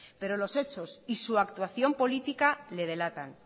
pero los hechos y su actuación política le delatan